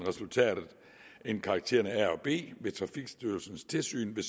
end karaktererne a og b ved trafikstyrelsens tilsyn vil